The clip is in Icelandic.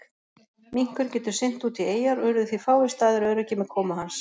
Minkurinn getur synt út í eyjar og urðu því fáir staðir öruggir með komu hans.